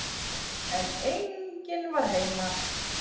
En enginn var heima.